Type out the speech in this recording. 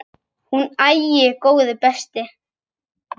Hún: Æi, góði besti.!